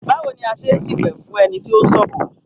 Báwo ni a ṣe n ṣipẹ̀ fún ẹni tí o ń ṣọ̀fọ̀?